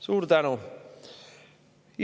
Suur tänu!